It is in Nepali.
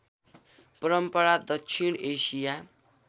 परम्परा दक्षिण एसिया